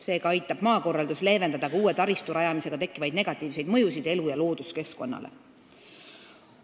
Seega aitab maakorraldus leevendada ka uue taristu rajamisega tekkivaid negatiivseid mõjusid elu- ja looduskeskkonnale.